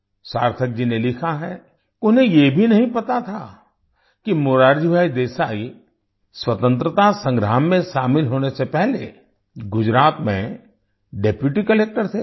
सार्थक जी ने लिखा है कि उन्हें ये भी नहीं पता था कि मोरारजी भाई देसाई स्वतंत्रता संग्राम में शामिल होने से पहले गुजरात में डेप्यूटी कलेक्टर थे